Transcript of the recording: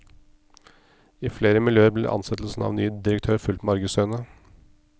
I flere miljøer blir ansettelsen av ny direktør fulgt med argusøyne.